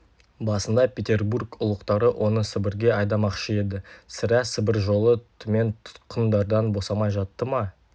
басында петербург ұлықтары оны сібірге айдамақшы еді сірә сібір жолы түмен тұтқындардан босамай жатты ма